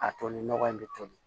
A toli nɔgɔ in bɛ toli